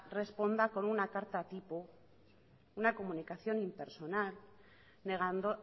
responda con una carta tipo una comunicación impersonal negando